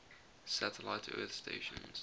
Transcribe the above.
satellite earth stations